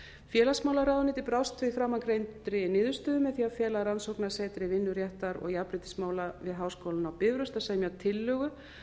félagsmálaráðuneytið brást við framangreindri niðurstöðu með því að fela rannsóknasetri vinnuréttar og jafnréttismála við háskólann á bifröst að semja tillögu